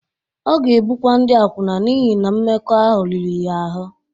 Ọ ga-ebukwa ndị akwụna n’ihi na mmekọahụ riri ya ahụ́.